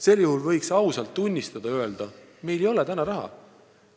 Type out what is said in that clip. Sel juhul võiks ausalt tunnistada ja öelda, meil ei ole raha.